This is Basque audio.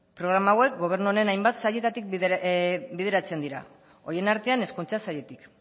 programa hauek gobernu honen hainbat sailetatik bideratzen dira horien artean hezkuntza sailetik